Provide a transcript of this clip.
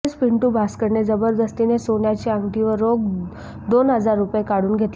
तसेच पिंटू भास्करने जबरदस्तीने सोन्याची अंगठी व रोख दोन हजार रूपये काढून घेतले